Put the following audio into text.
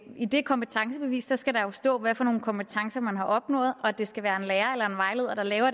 i det kompetencebevis jo skal stå hvad for nogle kompetencer man har opnået og at det skal være en lærer